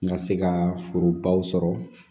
N ka se ka forobaw sɔrɔ